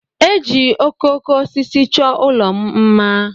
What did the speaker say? Eji okooko osisi chọọ ụlọ m mma.